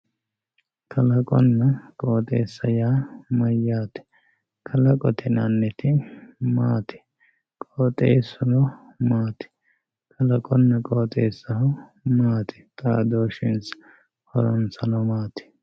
kalaqonna qooxeessa yaa mayyaate kalaqote ynanniti maati qooxeessuno maati kalaqonna qooxeessaho maati xaadooshshinsa horonsano maati